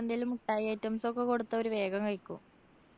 എന്തേലും മിഠായി items ഒക്കെ കൊടുത്താ അവര് വേഗം കഴിക്കും.